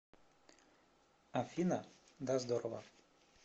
афина да здорово